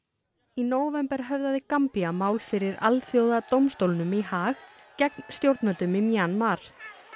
í nóvember höfðaði Gambía mál fyrir Alþjóðadómstólnum í Haag gegn stjórnvöldum í Mjanmar